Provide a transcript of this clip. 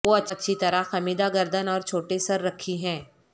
وہ اچھی طرح خمیدہ گردن اور چھوٹے سر رکھی ہیں